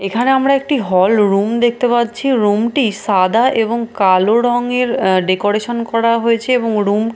এখানে আমরা একটি হলরুম দেখতে পাচ্ছি রুম -টি সাদা এবং কালো রঙের ডেকোরেশন করা হয়েছে এবং রুম --